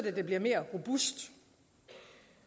at det bliver mere robust